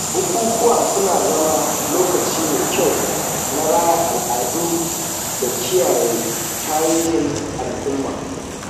Bukukuwa suna zama lokaci mai kyau na raya al’adu da kiyaye tarihihin al'umma.